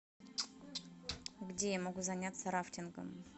где я могу заняться рафтингом